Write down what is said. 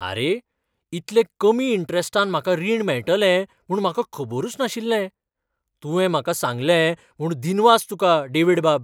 आरे ! इतले कमी इंट्रॅस्टान म्हाका रीण मेळटलें म्हूण म्हाका खबरूच नाशिल्लें. , तुवें म्हाका सांगलें म्हूण दिनवास तुकां, डेव्हिडबाब.